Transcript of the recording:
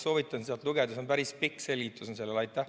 Soovitan sealt lugeda, seal on päris pikk selgitus selle kohta.